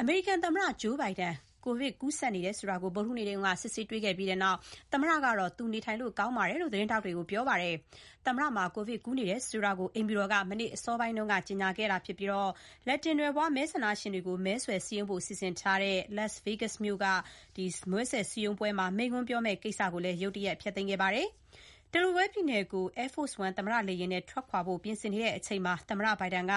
အမေရိကန်သမ္မတ ဂျိုးဘိုင်ဒန်မှာ ကိုဗစ်ရှိကြောင်း မနေ့ ဗုဒ္ဓဟူးနေ့တုန်းက စစ်ဆေးတွေ့ရှိပြီးနောက် သူနေထိုင်ရတာ ကောင်းပါတယ်လို့ သတင်းထောက်တွေကို ပြောခဲ့ပါတယ်။ မနေ့ညနေအစောပိုင်းတုန်းက သမ္မတဘိုင်ဒန်မှာ ကိုဗစ်ရှိကြောင်း အိမ်ဖြူတော်က ကြေညာပြီးတဲ့နောက် လက်တင်နွယ်ဖွား မဲဆန္ဒရှင်တွေကို မဲဆွယ်စည်းရုံးဖို့ စီစဉ်ထားတဲ့ Las Vegas မြို့က ပွဲမှာ မိန့်ခွန်းပြောမယ့်ကိစ္စကို ရုတ်တရက် ဖျက်သိမ်းခဲ့ပါတယ်။ Delaware ပြည်နယ်ကို Air Force One သမ္မတလေယာဉ်နဲ့ ထွက်ခွာဖို့ ပြင်ဆင်ချိန်မှာ သမ္မတဘိုင်ဒန်က